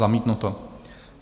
Zamítnuto.